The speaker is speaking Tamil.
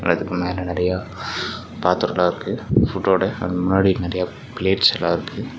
அதுக்கு மேல நெறைய பாத்ரோலாம் இருக்கு ஃபுட்டோட அதுக்கு முன்னாடி நெறைய பிளேட்ஸ் எல்லாம் இருக்கு.